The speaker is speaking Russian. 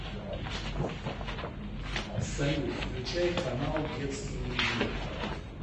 салют включай канал детский мир